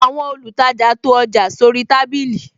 Àwọn olùtajà to ọjà sóri tábìlì